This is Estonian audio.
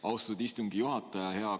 Austatud istungi juhataja!